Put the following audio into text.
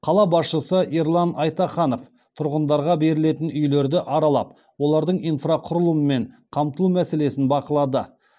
қала басшысы ерлан айтаханов тұрғындарға берілетін үйлерді аралап олардың инфрақұрылымы мен қамтылу мәселесін бақылады